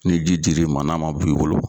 Ni ji dir'i ma n'a man bu i bolo.